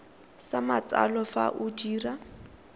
sa matsalo fa o dira